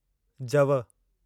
जव